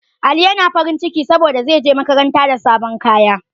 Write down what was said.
Ali yana farin ciki saboda zai je makaranta da sabon kaya